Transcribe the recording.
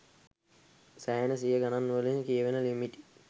සෑහෙන සිය ගනන් වලින් කියවෙන ලිමිට්.